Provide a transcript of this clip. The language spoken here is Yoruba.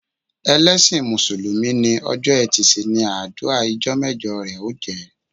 Ẹlẹsin músùlùmí ni, ọjọ́ e̩tì si ni adua ijọ́ mẹjọ rẹ ó jẹ́